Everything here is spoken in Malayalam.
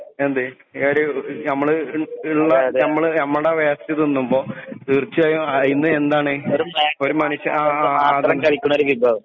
എന്തേ ഏഡിയോ ഞമ്മള് ഞമ്മളെ വേസ്റ്റ് തിന്നുമ്പോ തീർച്ചയായും അയിന്ന് എന്താണ് വിഭവം